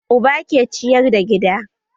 Uba ke ciyar da gida